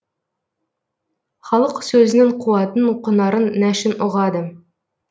халық сөзінің қуатын құнарын нәшін ұғады